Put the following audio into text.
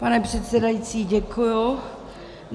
Pane předsedající, děkuji.